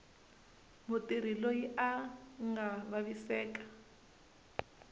mutirhi loyi a nga vaviseka